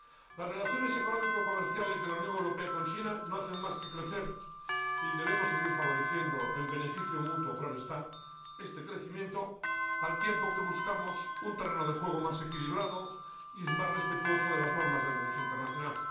Las relaciones económico comerciales de la Unión Europea con China no hacen más que crecer y debemos seguir favoreciendo —en beneficio mutuo, claro está— este crecimiento, al tiempo que buscamos un terreno de juego más equilibrado y más respetuoso de las normas del Derecho internacional.